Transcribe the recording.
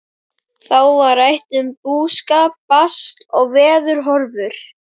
Þá var rætt um búskap, basl og veðurhorfur.